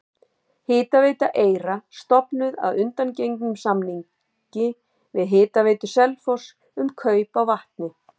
Hitaveita Eyra stofnuð að undangengnum samningi við Hitaveitu Selfoss um kaup á vatni.